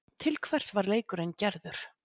Til hvers var leikurinn gerður?